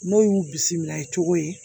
N'o y'u bisimila i cogo ye